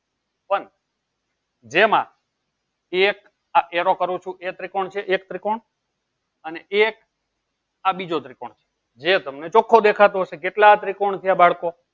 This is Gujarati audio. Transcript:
પણ જેમાં એક arrow કરું છું એ ત્રિકોણ છે એક ત્રિકોણ અને એક આ બીજો ત્રિકોણ છે જે તમને ચોખ્ખો દેખાતો હશે કેટલા ત્રિકોણ છે બાળકો